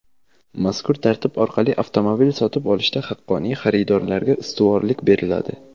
Mazkur tartib orqali avtomobil sotib olishda haqqoniy xaridorlarga ustuvorlik beriladi.